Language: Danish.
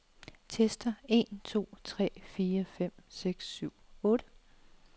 Tester en to tre fire fem seks syv otte.